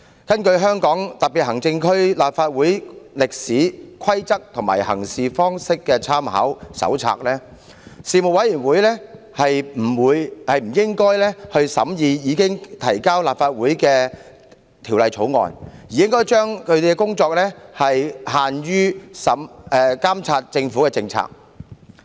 根據《香港特別行政區立法會歷史、規則及行事方式參考手冊》，事務委員會不應審議已提交立法會的法案，而應將其工作範圍規限於監察政府的政策事宜。